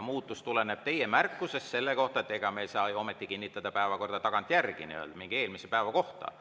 Muutus tuleneb teie märkusest selle kohta, et ega me ei saa ju ometi kinnitada päevakorda tagantjärele mingi eelmise päeva kohta.